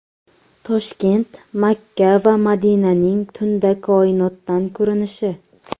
Toshkent, Makka va Madinaning tunda koinotdan ko‘rinishi .